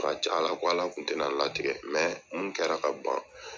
caya la ko Ala kun tɛ na latigɛ mun kɛra ka ban